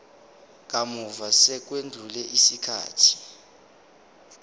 kamuva sekwedlule isikhathi